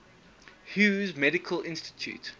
hughes medical institute